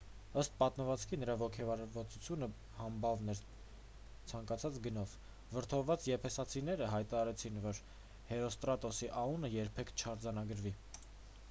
ըստ պատմվածքի նրա ոգևորվածությունը համբավն էր ցանկացած գնով վրդովված եփեսացիները հայտարարեցին որ հերոստրատոսի անունը երբեք չարձանագրվի